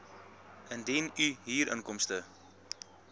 indien u huurinkomste